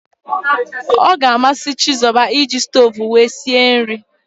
Ọ ga amasị Chizoba ị ji stoovu were sie nri